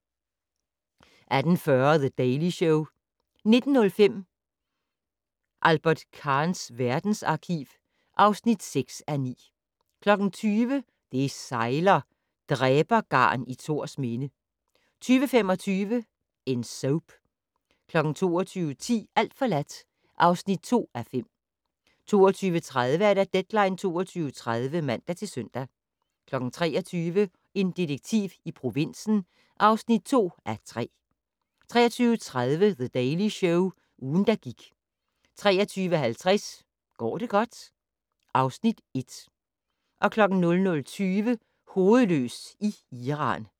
18:40: The Daily Show 19:05: Albert Kahns verdensarkiv (6:9) 20:00: Det sejler - Dræbergarn i Thorsminde 20:25: En Soap 22:10: Alt forladt (2:5) 22:30: Deadline 22.30 (man-søn) 23:00: En detektiv i provinsen (2:3) 23:30: The Daily Show - ugen, der gik 23:50: Går det godt? (Afs. 1) 00:20: Hovedløs i Iran